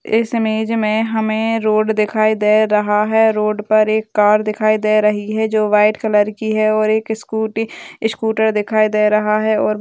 इस इमेज में हमें रोड दिखाई दे रहा है| रोड पर एक कार दिखाई दे रही है जो वाइट कलर की है और एक स्कूटी स्क्टूर दिखाई दे रहा है| और --